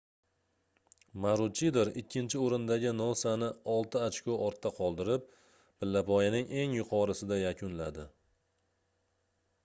maruchidor ikkinchi oʻrindagi nosani olti ochko ortda qoldirib pillapoyaning eng yuqorisida yakunladi